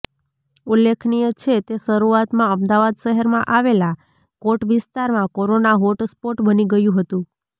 ઉલ્લેખનીય છે તે શરૂઆતમાં અમદાવાદ શહેરમાં આવેલા કોટ વિસ્તારમાં કોરોના હોટ સ્પોટ બની ગયું હતું